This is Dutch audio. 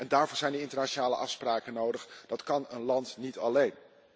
Daarvoor zijn internationale afspraken nodig, dat kan een land niet alleen.